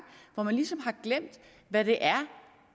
hvor man ligesom har glemt hvad det er